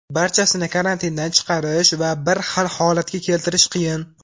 Barchasini karantindan chiqarish va bir xil holatga keltirish qiyin.